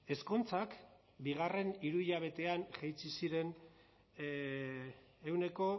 ezkontzak bigarrena hiruhilekoan jaitsi ziren ehuneko